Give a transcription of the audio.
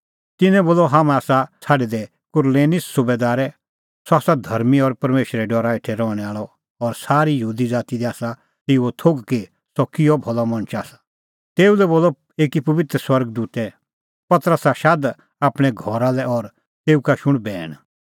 तिन्नैं बोलअ हाम्हैं आसा छ़ाडै दै कुरनेलिस सुबैदारै सह आसा धर्मीं और परमेशरे डरा हेठै रहणैं आल़अ और सारी यहूदी ज़ाती दी आसा तेऊओ थोघ कि सह किहअ भलअ मणछ आसा तेऊ लै बोलअ एकी पबित्र स्वर्ग दूतै पतरसा शाद आपणैं घरा लै और तेऊ का शुण बैण